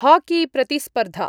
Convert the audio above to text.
हाकीप्रतिस्पर्धा